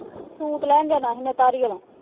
Suit ਲੈਣ ਜਾਣਾ ਸੀ ਮੈਂ ਧਾਲੀਵਾਲ।